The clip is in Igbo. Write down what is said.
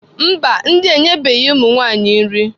Mba, ndị a enyebeghị ụmụ nwanyị nri.